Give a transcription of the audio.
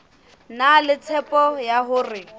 na le tshepo ya hore